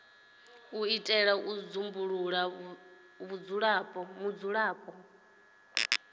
u itela u dzumbulula vhudzulapo